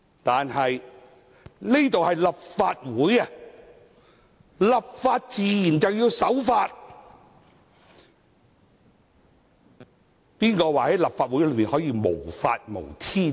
但是，這裏是立法會，立法自然要守法，誰說在立法會內可以無法無天呢？